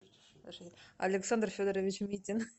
александр федорович митин